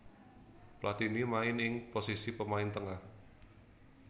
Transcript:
Platini main ing posisi pemain tengah